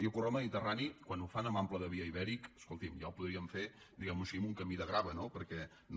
i el corredor mediterrani quan ho fan amb ample de via ibèric escolti’m ja ho podrien fer diguem ho així amb un camí de grava no perquè no